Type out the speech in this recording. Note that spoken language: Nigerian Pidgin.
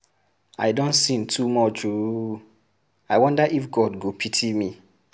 I don sin too much oooo, I wonder if God go pity me.